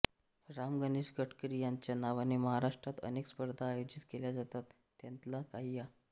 राम गणेश गडकरी यांच्या नावाने महाराष्ट्रात अनेक स्पर्धा आयोजित केल्या जातात त्यांतल्या काही या